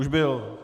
Už byl?